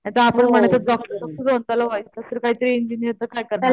नायतर आपण म्हणायच त्याला व्हायचं कायतरी इंजिनीर तर काय करणार?